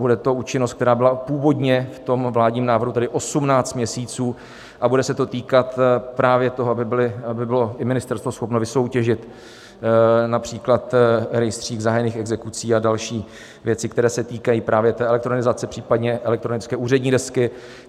Bude to účinnost, která byla původně v tom vládním návrhu, tedy 18 měsíců, a bude se to týkat právě toho, aby bylo i ministerstvo schopno vysoutěžit například rejstřík zahájených exekucí a další věci, které se týkají právě té elektronizace, případně elektronické úřední desky.